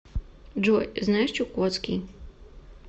джой знаешь чукотский